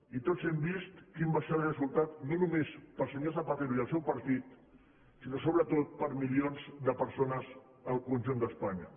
i tots hem vist quin va ser el resultat no només per al senyor zapatero i el seu partit sinó sobretot per a milions de persones al conjunt d’espanya